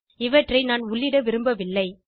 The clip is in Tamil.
இவற்றை நான் உள்ளிட விரும்பவில்லை